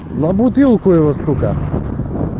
на бутылку его сука